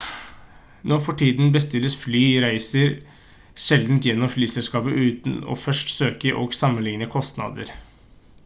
nå for tiden bestilles flyreiser sjelden gjennom flyselskapet uten å først søke og sammenligne kostnader